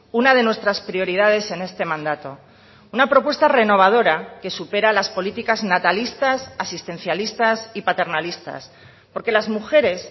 una de nuestras prioridades en este mandato una propuesta renovadora que supera las políticas natalistas asistencialistas y paternalistas porque las mujeres